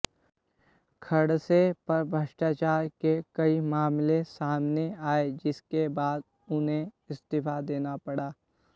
खडसे पर भ्रष्टाचार के कई मामले सामने आए जिसके बाद उन्हें इस्तीफा देना पड़ा